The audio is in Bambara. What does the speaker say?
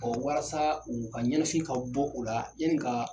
walasaa uu ka ɲɛnɛfin ka bɔ o la yani kaa